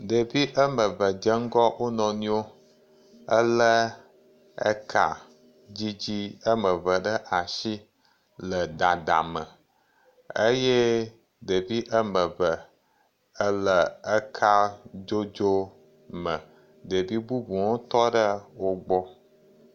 Ɖeviwo ame eve dze ŋgɔ wonuiwo elé eka dzidzi wo ame eve ɖe asi le dadame eye ɖevi ame eve le kadzodzo me. Ɖevi bubuwo hã tɔ ɖe wo gbɔ.